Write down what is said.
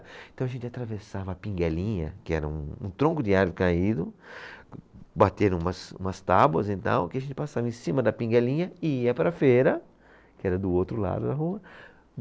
Então a gente atravessava a pinguelinha, que era um, um tronco de árvore caído, bateram umas tábuas e tal, que a gente passava em cima da pinguelinha e ia para a feira, que era do outro lado da rua.